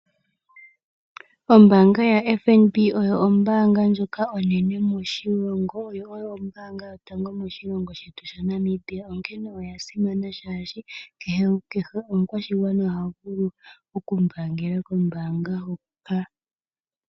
Ombaanga yaFNB oyo ombaanga ndjoka onene moshilongo yo oyo ombaanga yotango moshilongo shetu shaNamibia. Onkene oya simana oshoka kehe omukwashigwana ohavulu okumbaangela kombaanga hoka.